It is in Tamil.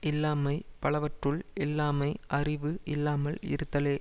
இல்லாமை பலவற்றுள்ளும் இல்லாமை அறிவு இல்லாமல் இருத்தலே